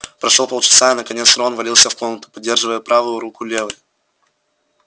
прошло полчаса и наконец рон ввалился в комнату поддерживая правую руку левой